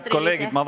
Head kolleegid!